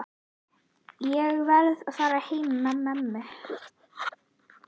Ég verð að fara heim með mömmu.